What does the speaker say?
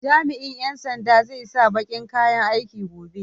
Jami'in ƴan sandan zai sa baƙin kayan aiki gobe.